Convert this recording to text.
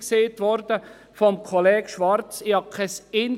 Es ist vorhin von Kollege Schwarz richtig gesagt worden.